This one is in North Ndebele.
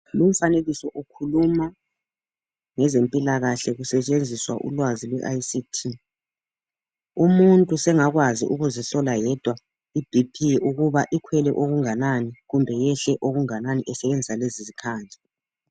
Lumfanekiso ukhuluma ngezempilakahle kusetshenziswa ulwazi lwe I.C.T. Umuntu sengakwazi ukuzihlola yedwa iBP ukuba ikhwele okunganani kumbe yehle okunganani esebenzisa lezi izikhali.